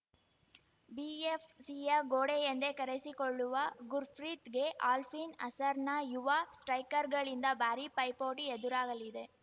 ಬಿಎಫ್‌ಸಿಯ ಗೋಡೆ ಎಂದೇ ಕರೆಸಿಕೊಳ್ಳುವ ಗುರ್‌ಪ್ರೀತ್‌ಗೆ ಆಲ್ಪಿನ್‌ ಅಸರ್‌ನ ಯುವ ಸ್ಟ್ರೈಕರ್‌ಗಳಿಂದ ಭಾರೀ ಪೈಪೋಟಿ ಎದುರಾಗಲಿದೆ